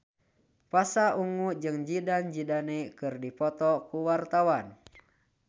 Pasha Ungu jeung Zidane Zidane keur dipoto ku wartawan